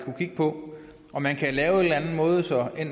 kigge på om man kan lave en måde så